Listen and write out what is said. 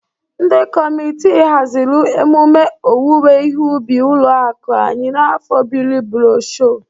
Ndị kọmitị hazịrị emume owuwe ihe ubi ụlọ akụ anyị n'afọ bịrị brosho.